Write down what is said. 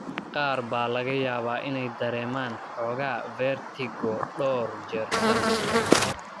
Qaar baa laga yaabaa inay dareemaan xoogaa vertigo dhowr jeer sannadkii.